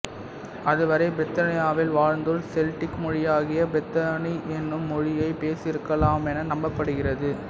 அதுவரை பிரித்தானியாவில் வாழ்ந்தோர் செல்டிக் மொழியாகிய பிரைத்தோனிக் எனும் மொழியைப் பேசியிருக்கலாமென நம்பப்படுகிறது